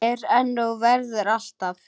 Er enn og verður alltaf.